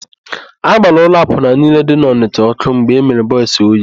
A gbara ụlọ akwụna niile dị n'Ọnịsha ọ́kụ́ mgbe emere Bọis Oye.